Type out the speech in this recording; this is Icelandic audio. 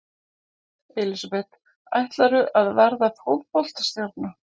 Elísabet: Ætlarðu að verða fótboltastjarna?